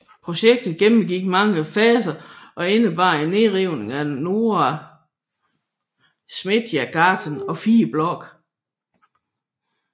Projektet gennemgik mange faser og indebar en nedrivning af Norra Smedjegatan og fire blokke